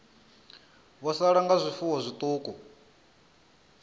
vho sala nga zwifuwo zwiṱuku